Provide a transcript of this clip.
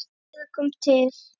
En fleira kom til.